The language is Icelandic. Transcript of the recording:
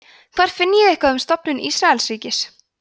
hvar finn ég eitthvað um stofnun ísraelsríkis